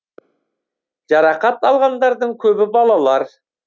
жарақат алғандардың көбі балалар